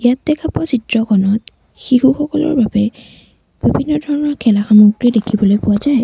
ইয়াত দেখা পোৱা চিত্ৰখনত শিশুসকলৰ বাবে বিভিন্ন ধৰণৰ খেলাৰ সামগ্ৰী দেখিবলৈ পোৱা যায়।